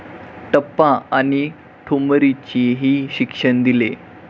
टप्पा आणि ठुमरीचेही शिक्षण दिले.